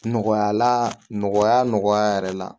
Nɔgɔya la nɔgɔya nɔgɔya yɛrɛ la